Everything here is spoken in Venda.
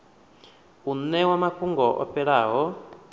u ṋewa mafhungo o fhelelaho